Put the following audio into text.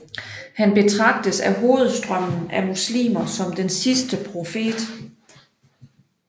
Han betragtes af hovedstrømmen af muslimer som den sidste profet